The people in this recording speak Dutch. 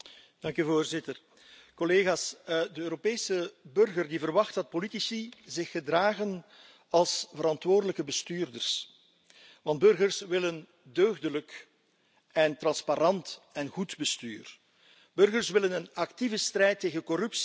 Voorzitter, collega's, de Europese burger verwacht dat politici zich gedragen als verantwoordelijke bestuurders, want burgers willen deugdelijk en transparant en goed bestuur. Burgers willen een actieve strijd tegen corruptie.